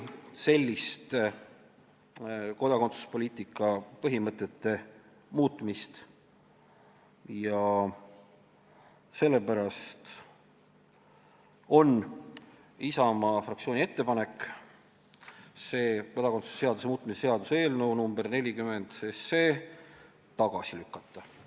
Sellist kodakondsuspoliitika põhimõtete muutmist Isamaa kindlasti ei soovi ja sellepärast on Isamaa fraktsiooni ettepanek kodakondsuse seaduse muutmise seaduse eelnõu 40 tagasi lükata.